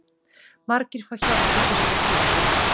Margir fá hjálp í fyrsta skipti